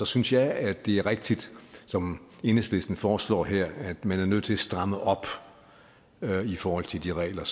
synes jeg at det er rigtigt som enhedslisten foreslår her at man er nødt til at stramme op i forhold til de regler